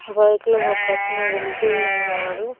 Bike లో ఒక అతను వెళ్తూ ఉన్నాడు.